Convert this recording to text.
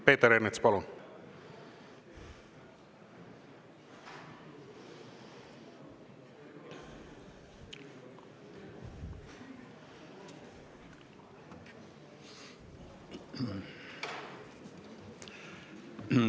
Peeter Ernits, palun!